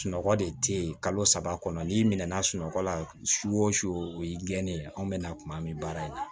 Sunɔgɔ de tɛ yen kalo saba kɔnɔ n'i minɛna sunɔgɔ la su o su o y'i gɛnnen anw bɛna kuma min baara in na